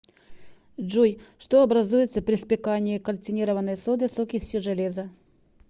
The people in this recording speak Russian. джой что образуется при спекании кальцинированной соды с окисью железа